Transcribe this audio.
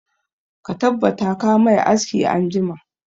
Ka tabbata ka mai aski anjima!